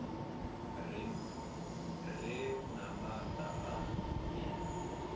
re na maanda a i